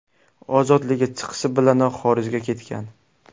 Ozodlikka chiqishi bilanoq xorijga ketgan.